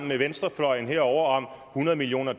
med venstrefløjen herovre om hundrede millioner